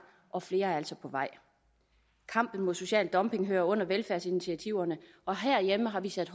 og flere er altså på vej kampen mod social dumping hører under velfærdsinitiativerne og herhjemme har vi sat